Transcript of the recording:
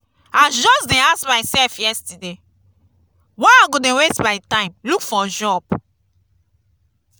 i just dey ask myself yesterday why i go dey waste my time look for job.